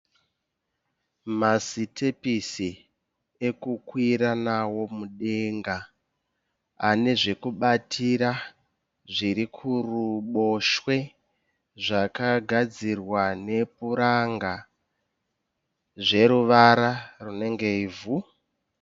Masitepisi ekukwira nawo mudenga. Ane zvekubatira zviri kuruboshwe. Zvakagadzirwa nepuranga zveruvara rinenge ivhu.